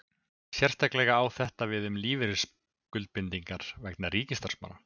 Sérstaklega á þetta við um lífeyrisskuldbindingar vegna ríkisstarfsmanna.